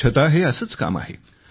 स्वच्छता हे असेच एक काम आहे